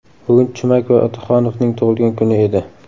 Bugun Chumak va Otaxonovning tug‘ilgan kuni edi.